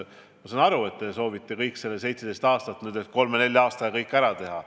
Ma saan aru, et te soovite, et selle 17 aasta jooksul tegemata jäänu nüüd kolme-nelja aastaga ära tehtaks.